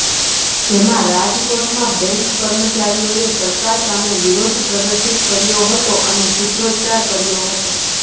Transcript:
જેમાં રાજકોટમાં બેંક કર્મચારીઓએ સરકાર સામે વિરોધ પ્રદર્શીત કર્યો હતો અને સૂત્રોચ્ચારો કર્યા હતા